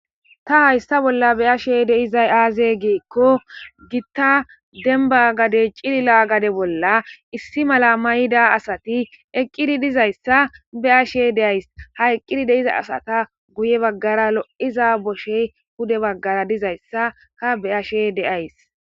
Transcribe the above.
ta hayssa bolla beyashe deizay aaze giikko gitta demba gadey cilila gade bolla issi mala mayida asati eqqidi dizayssa be7ashe de7ys ha eqqidi deiza asata guye baggara lo7iza boshey hude baggara dizayssa ka beyashe de7ays.